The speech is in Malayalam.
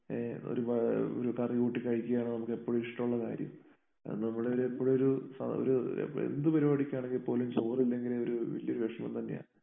ഏ ഒരു പാ ഒരു കറി കൂട്ടി കഴിക്കുകയാണ് നമുക്ക് എപ്പോഴും ഇഷ്ടമുള്ള കാര്യം. അത് നമ്മുടെ എപ്പോഴും ഒരു സ്വ ഒരു ഏഹ് എന്ത് പരിപാടിക്ക് ആണെങ്കിൽ പോലും ചോറ് ഇല്ലെങ്കില് ഒരു വല്ല്യ ഒരു വിഷമം തന്നെയാ.